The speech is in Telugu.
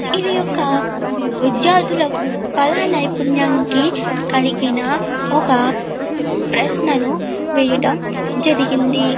ఇది ఒక విద్యార్ధులకు కళా నైపుణ్యానికి కలిగిన ఒక ప్రశ్నను వేయడం జరిగింది.